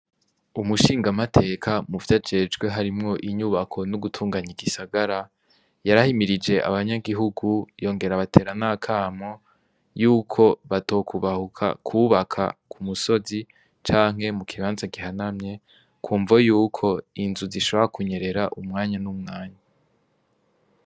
Umushingamateka muvyo ajejwe harimwo inyubako n'ugutunganya igisagara yarahimirije abanyagihugu yongera batera nakamo yuko batokubahuka kwubaka ku musozi canke mu kibanza gihanamye ku mvo yuko inzu zishora kunyerera umwanya n'umwanya .